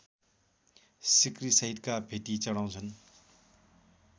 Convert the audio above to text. सिक्रीसहितका भेटी चढाउँछन्